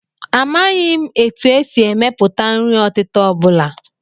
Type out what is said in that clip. Amaghị m etu e si emepụta nri ọtịta ọ bụla